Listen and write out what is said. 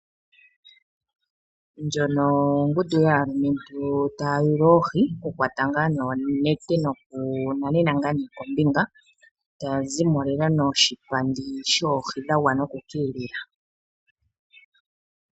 Ndjono ongundu yaalumentu taya yul oohi. Okukwata noonete nokunanena kombinga, taya zi mo lela noshipandi shoohi dha gwana oku ka elela.